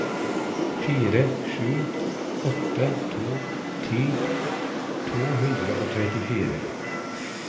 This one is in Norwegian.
fire sju åtte to ti to hundre og trettifire